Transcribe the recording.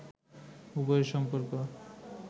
উভয়ের সম্পর্ক